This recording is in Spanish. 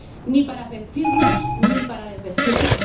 Ni para vestirnos ni para desvestirnos.